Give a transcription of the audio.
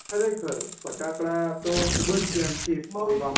ખરેખર ફટાકડા તો ખુબજ દયાન થી ફોડવા